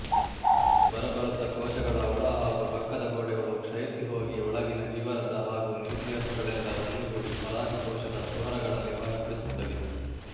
ಬರಬರುತ್ತ ಕೋಶಗಳ ಒಳ ಹಾಗೂ ಪಕ್ಕದ ಗೋಡೆಗಳು ಕ್ಷಯಿಸಿಹೋಗಿ ಒಳಗಿನ ಜೀವರಸ ಹಾಗೂ ನ್ಯೂಕ್ಲಿಯಸುಗಳೆಲ್ಲ ಒಂದುಗೂಡಿ ಪರಾಗಕೋಶದ ಕುಹರಗಳಲ್ಲಿ ವ್ಯಾಪಿಸುತ್ತವೆ